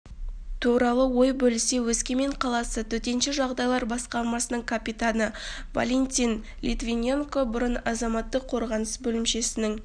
туралы ой бөлісе өскемен қаласы төтенше жағдайлар басқармасының капитаны валентин литвиненко бұрын азаматтық қорғаныс бөлімшесінің